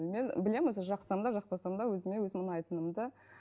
мен білемін өзі жақсам да жақпасам да өзіме өзім ұнайтынымды